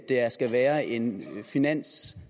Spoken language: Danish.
der skal være en finanszar